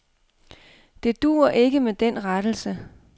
Det duer ikke med den rettelse.